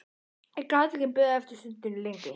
Ég gat ekki beðið stundinni lengur.